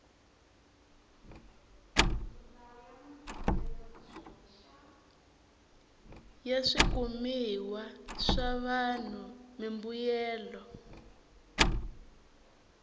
ya swikumiwa swa vanhu mimbuyelo